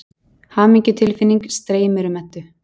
Hamingjutilfinning streymir um Eddu.